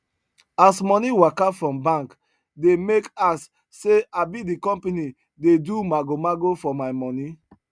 as money waka from bank dey make ask sey abi the company dey do magomago for my money